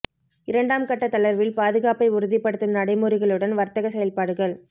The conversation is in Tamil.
இரண்டாம் கட்டத் தளர்வில் பாதுகாப்பை உறுதிப்படுத்தும் நடைமுறைகளுடன் வர்த்தகச் செயல்பாடுகள்